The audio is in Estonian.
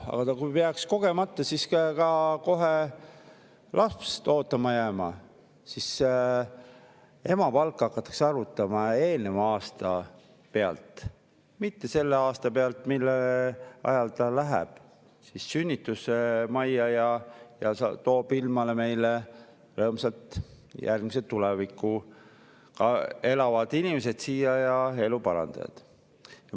Aga kui naine peaks kogemata jääma ka kohe lapseootele, siis hakatakse emapalka arvutama eelneva aasta pealt, mitte selle aasta pealt, mille ajal ta läheb sünnitusmajja ja toob rõõmsalt ilmale järgmise ilmakodaniku, kes tulevikus on meie elu parandaja.